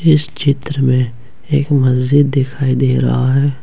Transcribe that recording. इस चित्र में एक मस्जिद दिखाई दे रहा है।